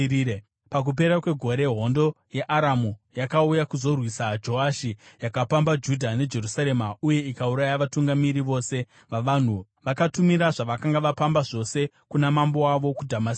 Pakupera kwegore hondo yeAramu yakauya kuzorwisa Joashi; yakapamba Judha neJerusarema uye ikauraya vatungamiri vose vavanhu. Vakatumira zvavakanga vapamba zvose kuna mambo wavo kuDhamasiko.